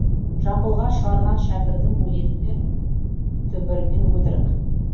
жамбылға шығарған шәкірдің өлеңі түбірімен өтірік